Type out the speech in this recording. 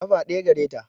Ƙafa ɗaya gare ta